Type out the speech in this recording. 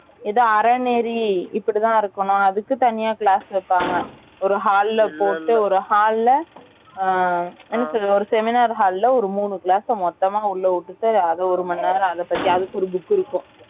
ஏதோ அறநெறி இப்படி தான் இருக்கணும் அதுக்கு தனியா class வைப்பாங்க ஒரு hall ல போட்டு ஒரு hall ல ஒரு Seminar hall ல ஒரு மூனு Class அ மொத்தமா உள்ள விட்டுட்டு அது ஒருமணி நேரம் அதப்பத்தி அதுக்கு ஒரு book இருக்கும்